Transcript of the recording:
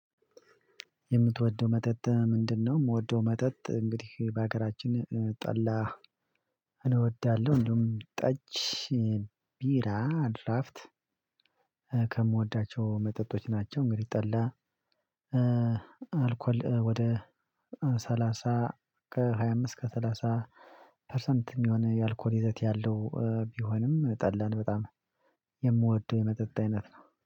የምትወደው መጠጥ ምንድነው? ምወደው መጠጥ እንግዲህ በሀገራችን ጠላ እወዳለሁ። እንዲውም ጠጅ፣ ቢራ፣ ድራፍት ከምወዳቸው መጠጦች ናቸው። እንግዲህ ጠላ አልኮል ወደ ሰላሳ ከሃያ አምስት እስከ ሰላሳ ፐርሰንት የሚሆነው የአልኮር ይዘት ያለው ቢሆንም ጠላን በጣም የምወደው የመጠጥ አይነት ነው